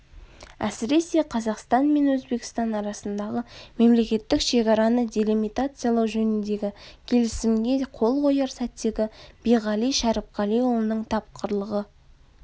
әсіресе қазақстан мен өзбекстан арасындағы мемлекеттік шекараны делимитациялау жөніндегі келісімге қол қояр сәттегі биғали шәріпқалиұлының тапқырлығы